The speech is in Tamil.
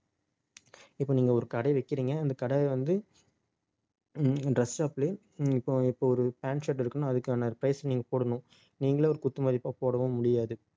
இப்ப நீங்க ஒரு கடை வைக்கிறீங்க. அந்த கடையை வந்து dress shop லயே இப்போ இப்போ ஒரு pant, shirt எடுக்கணுன்னா அதுக்கான price நீங்க போடணும் நீங்களே ஒரு குத்து மதிப்பா போடவும் முடியாது